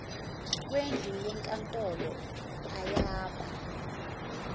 kwendlu yenkantolo ayaba